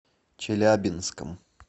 челябинском